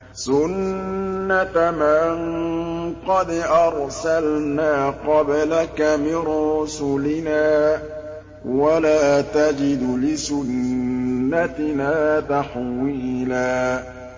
سُنَّةَ مَن قَدْ أَرْسَلْنَا قَبْلَكَ مِن رُّسُلِنَا ۖ وَلَا تَجِدُ لِسُنَّتِنَا تَحْوِيلًا